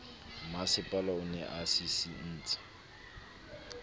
mmasepala o ne a sisintse